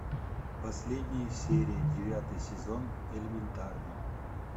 последняя серия девятый сезон элементарно